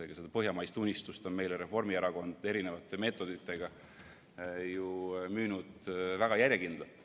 Seda põhjamaist unistust on Reformierakond meile erisuguste meetoditega müünud ju väga järjekindlalt.